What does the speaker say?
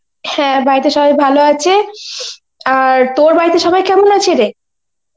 হ্যাঁ বাড়িতে সবাই ভালো আছে, আর তোর বাড়িতে সবাই কেমন আছে রে?